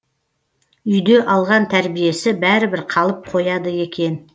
үйде алған тәрбиесі бәрібір қалып қояды екен